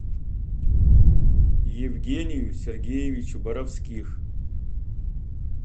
евгению сергеевичу боровских